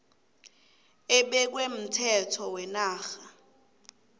ebekwe mthetho wenarha